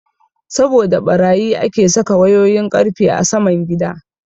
Saboda ɓarayi ake saka wayoyin ƙarfe a saman gida.